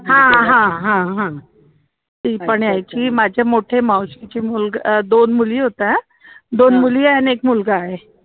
हा हा हा हा ती पण यायची माझे मोठे मावशीची मुलग अं दोन मुली होत्या दोन मुली आहे आणि एक मुलगा आहे